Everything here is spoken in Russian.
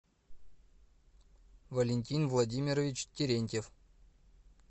валентин владимирович терентьев